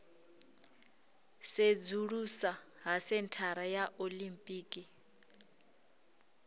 sedzulusa ha senthara ya olimpiki